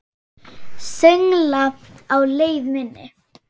Söngla á leið minni.